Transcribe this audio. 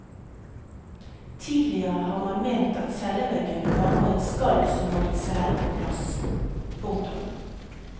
Tidligere har man ment at celleveggen bare var et skall som holdt cellen på plass. punktum